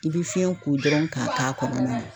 I bɛ fiɲɛ ko dɔrɔn k'a k'a kɔnɔna na.